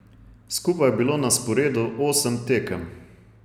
Skupaj je bilo na sporedu osem tekem.